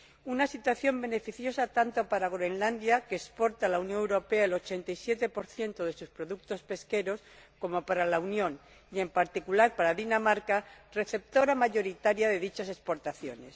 Una situación beneficiosa, tanto para Groenlandia, que exporta a la Unión Europea el 87 de sus productos pesqueros, como para la Unión y, en particular, para Dinamarca, receptora mayoritaria de dichas exportaciones.